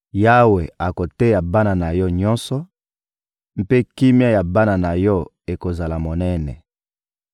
Yawe akoteya bana na yo nyonso, mpe kimia ya bana na yo ekozala monene.